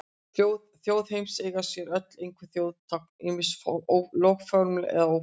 Þjóðir heims eiga sér öll einhver þjóðartákn, ýmist lögformleg eða óformleg.